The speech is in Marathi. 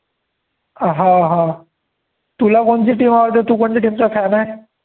हा हा तुला कोणती team आवडते, तु कोणची team चा fan आहे.